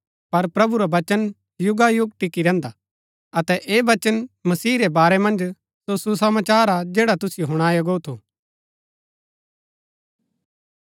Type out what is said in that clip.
पर प्रभु रा वचन युगायुग टिकी रैहन्दा हा अतै ऐह वचन मसीह रै बारै मन्ज सो सुसमाचार हा जैडा तुसिओ हुणाया गो थू